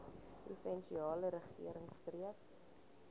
provinsiale regering streef